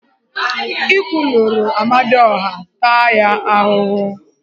Ị kwulurọ Amadioha, taa ya ahụhụ!